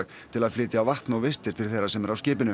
til að flytja vatn og vistir til þeirra sem eru á skipinu